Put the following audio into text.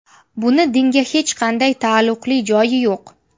Buni dinga hech qanday taalluqli joyi yo‘q.